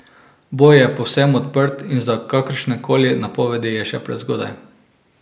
Boj je povsem odprt in za kakršnekoli napovedi je še prezgodaj.